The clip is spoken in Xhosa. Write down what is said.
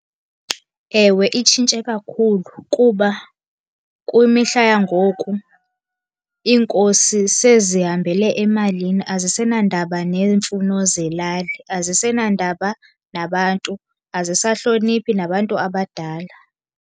Ewe, itshintshe kakhulu. Kuba kumihla yangoku iinkosi sezihambele emalini azisenandaba neemfuno zelali, azisenandaba nabantu, azisahloniphi nabantu abadala.